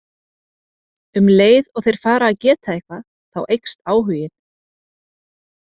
Um leið og þeir fara að geta eitthvað þá eykst áhuginn.